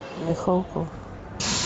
михалков